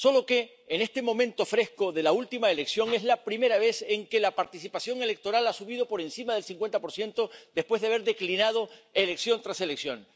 Solo que, en este momento de la última elección, es la primera vez en que la participación electoral ha subido por encima del 50 después de haber declinado elección tras elección.